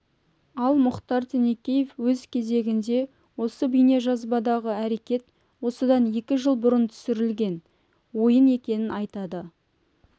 ал мұхтар тінікеев өз кезегінде осы бейнежазбадағы әрекет осыдан екі жыл бұрын түсірілген ойын екенін айтады